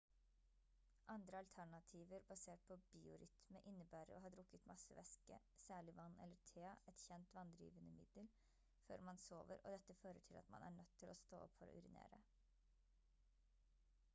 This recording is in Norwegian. andre alternativer basert på biorytme innebærer å ha drukket masse væske særlig vann eller te et kjent vanndrivende middel før man sover og dette fører til at man er nødt til å stå opp for å urinere